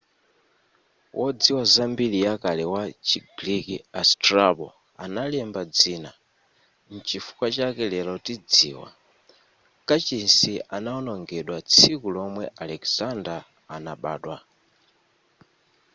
wodziwa za mbiri ya kale wa chi greek a strabo analemba dzina nchifukwa chake lero tidziwa kachisi anaonongedwa tsiku lomwe alexander anabadwa